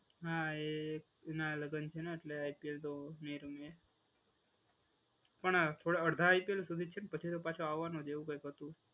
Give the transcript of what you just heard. હા એના લગ્ન છે ને એટલે આઇપીએલ તો નહીં રમે. પણ થોડા અડધા આઇપીએલ સુધી જ છે. પછી તો પાછો આવવાનો જ એવું કઈંક હતું.